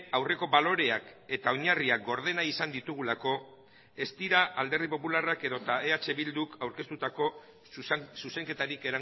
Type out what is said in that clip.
aurreko baloreak eta oinarriak gordena izan ditugulako ez dira alderdi popularrak edota eh bilduk aurkeztutako zuzenketarik